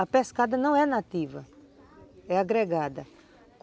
A pescada não é nativa, é agregada.